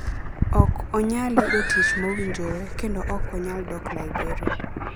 Ok onyal yudo tich mowinjore, kendo ok onyal dok Liberia